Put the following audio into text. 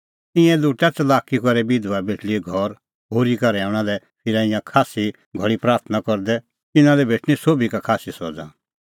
ईंयां लुटा च़लाकी करै बिधबा बेटल़ीए घर होरी का रहैऊंणा लै फिरा ईंयां खास्सी घल़ी प्राथणां करदै इना लै भेटणीं सोभी का खास्सी सज़ा